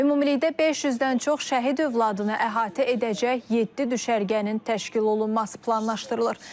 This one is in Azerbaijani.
Ümumilikdə 500-dən çox şəhid övladını əhatə edəcək yeddi düşərgənin təşkil olunması planlaşdırılır.